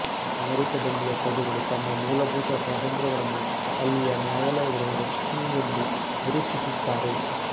ಅಮೆರಿಕದಲ್ಲಿಯ ಪ್ರಜೆಗಳು ತಮ್ಮ ಮೂಲಭೂತ ಸ್ವಾತಂತ್ರ್ಯಗಳನ್ನು ಅಲ್ಲಿಯ ನ್ಯಾಯಲಯಗಳು ರಕ್ಷಸುವುವೆಂದು ನಿರೀಕ್ಷಿಸುತ್ತಾರೆ